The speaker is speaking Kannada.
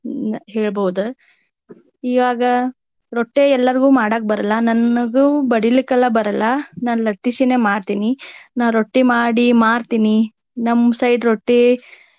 ಹೇಳ್ಬಹುದ. ಇವಾಗ ರೊಟ್ಟಿ ಎಲ್ಲಾರ್ಗು ಮಾಡಾಕ ಬರಲ್ಲ. ನನಗು ಬಡಿಲಿಕ್ಕೆಲ್ಲಾ ಬರಲ್ಲಾ. ನಾನ ಲಟ್ಟಿಸಿನೆ ಮಾಡ್ತೇನಿ. ನಾ ರೊಟ್ಟಿ ಮಾಡಿ ಮಾರ್ತಿನಿ. ನಮ್ಮ side ರೊಟ್ಟಿ.